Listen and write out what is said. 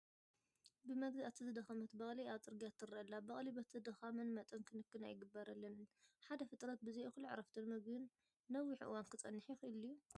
ብመግዛእቲ ዝደኸመት በቕሊ ኣብ ፅርጊያ ትርአ ኣላ፡፡ በቕሊ በቲ ድኻመን መጠን ክንክን ኣይግበረለንን፡፡ ሓደ ፍጥረት ብዘይ እኹል ዕረፍትን ምግብን ነዊሕ እዋን ክፀንሕ ይኽእል ድዩ?